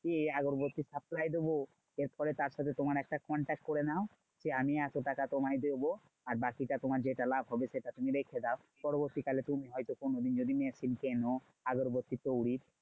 গিয়ে আগবাটি supply দেব। এরপরে তার সাথে তোমার একটা contact করে নাও। যে আমি এতটাকা তোমায় দেব। আর বাকিটা তোমার যেটা লাভ হবে সেটা তুমি রেখে দাও। পরবর্তীকালে তুমি হয়ত কোনোদিন যদি machine কেনো আগরবাতি তৈরির